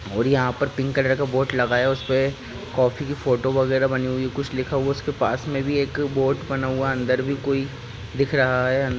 और यहाँ पर पिंक कलर का बोर्ड लगाया। उस पे कॉफी की फोटो वैगैरा बनी हुई। कुछ लिखा हुवा। उस के पास मे भी एक बोर्ड बना हुवा। अंदर भी कोई दिख रहा है।